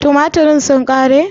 Tumaturen sun ƙare?